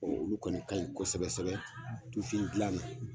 Ɔ olu kɔni ka ɲi kosɛbɛ kosɛbɛ tufin dilan na